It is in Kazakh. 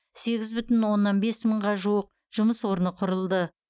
сегіз бүтін оннан бес мыңға жуық жұмыс орны құрылды